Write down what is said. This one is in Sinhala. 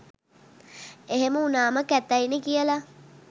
එහෙම වුණාම කැතයිනෙ කියල''